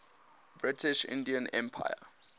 british indian empire